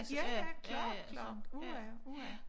Ja ja klart klart uha uha